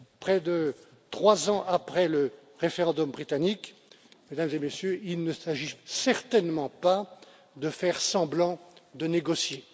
Près de 3 ans après le référendum britannique, Mesdames et Messieurs, il ne s'agit certainement pas de faire semblant de négocier.